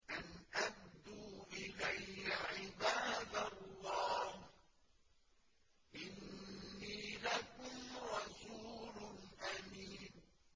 أَنْ أَدُّوا إِلَيَّ عِبَادَ اللَّهِ ۖ إِنِّي لَكُمْ رَسُولٌ أَمِينٌ